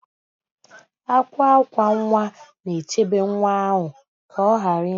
Akwa akwa nwa na-echebe nwa ahụ ka ọ ghara ịda